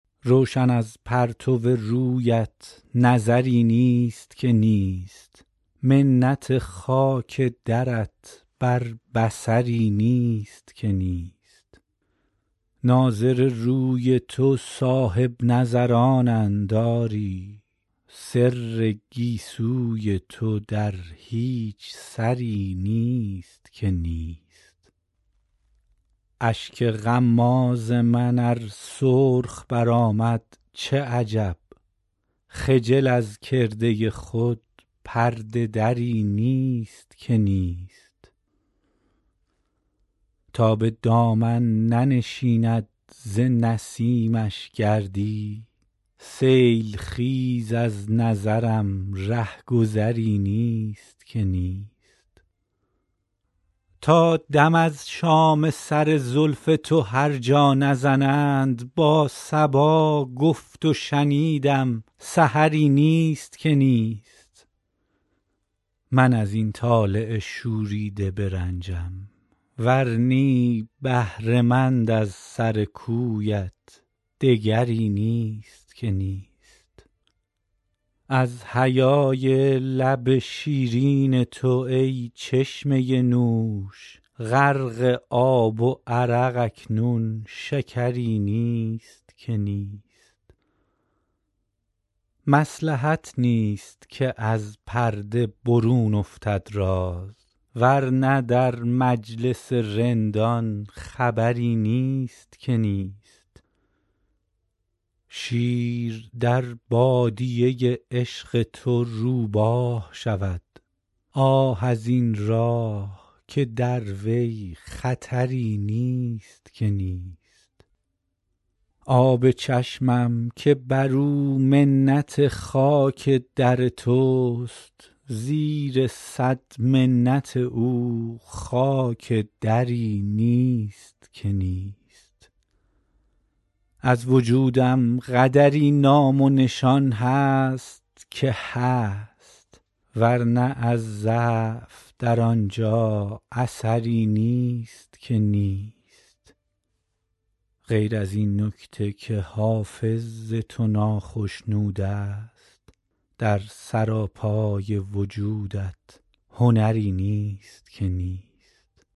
روشن از پرتو رویت نظری نیست که نیست منت خاک درت بر بصری نیست که نیست ناظر روی تو صاحب نظرانند آری سر گیسوی تو در هیچ سری نیست که نیست اشک غماز من ار سرخ برآمد چه عجب خجل از کرده خود پرده دری نیست که نیست تا به دامن ننشیند ز نسیمش گردی سیل خیز از نظرم ره گذری نیست که نیست تا دم از شام سر زلف تو هر جا نزنند با صبا گفت و شنیدم سحری نیست که نیست من از این طالع شوریده برنجم ور نی بهره مند از سر کویت دگری نیست که نیست از حیای لب شیرین تو ای چشمه نوش غرق آب و عرق اکنون شکری نیست که نیست مصلحت نیست که از پرده برون افتد راز ور نه در مجلس رندان خبری نیست که نیست شیر در بادیه عشق تو روباه شود آه از این راه که در وی خطری نیست که نیست آب چشمم که بر او منت خاک در توست زیر صد منت او خاک دری نیست که نیست از وجودم قدری نام و نشان هست که هست ور نه از ضعف در آن جا اثری نیست که نیست غیر از این نکته که حافظ ز تو ناخشنود است در سراپای وجودت هنری نیست که نیست